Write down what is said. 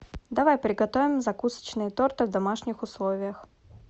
давай приготовим закусочные торты в домашних условиях